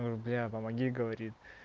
бля помоги говорит